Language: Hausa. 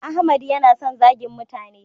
Ahmad ya na son zagin mutane